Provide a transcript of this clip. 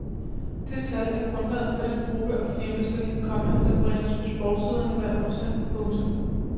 Det tal er grundlaget for den gruppe og firmastilling, komma der bringes på sportssiderne hver onsdag. punktum